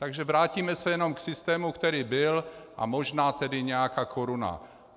Takže se vrátíme jenom k systému, který byl, a možná tedy nějaká koruna.